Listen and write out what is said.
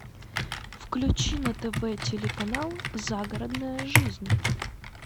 включи на тв телеканал загородная жизнь